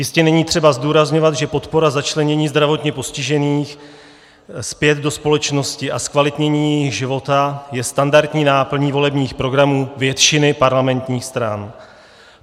Jistě není třeba zdůrazňovat, že podpora začlenění zdravotně postižených zpět do společnosti a zkvalitnění jejich života je standardní náplní volebních programů většiny parlamentních stran.